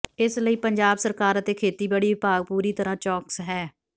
ਇਸ ਲਈ ਪੰਜਾਬ ਸਰਕਾਰ ਅਤੇ ਖੇਤੀਬਾੜੀ ਵਿਭਾਗ ਪੂਰੀ ਤਰ੍ਹਾਂ ਚੌਕਸ ਹੈ